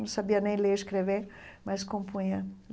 Não sabia nem ler e escrever, mas compunha.